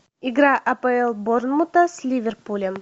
игра апл борнмута с ливерпулем